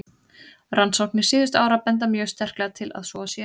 Rannsóknir síðustu ára benda mjög sterklega til að svo sé.